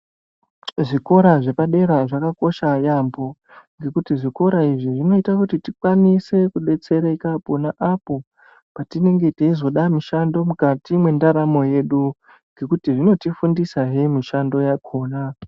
Zvikora zvepadera zvakakosha yaambo, ngekuti zvikora izvi zvinoita kuti tikwanise kudetsereka pona apo petinonga teizoda mishando mukati mwendaramo yedu, ngekuti zvinoti fundisahe mushando yakhona.